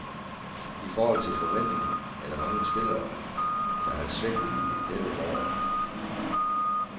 I forhold til forventningerne, er der mange spillere, der har svigtet i dette forår.